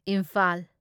Imphal